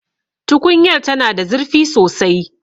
Tukunyar tana da zurfi sosai